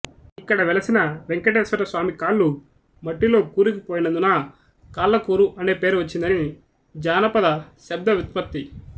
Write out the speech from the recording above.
ఇక్కడ వెలసిన వేంకటేశ్వరస్వామి కాళ్ళు మట్టిలో కూరుకుపోయినందున కాళ్ళకూరు అనే పేరు వచ్చిందని జానపద శబ్దవ్యుత్పత్తి